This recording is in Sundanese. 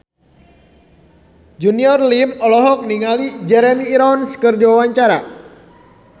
Junior Liem olohok ningali Jeremy Irons keur diwawancara